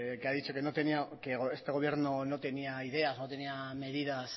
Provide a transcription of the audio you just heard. que ha dicho que este gobierno no tenía ideas no tenía medidas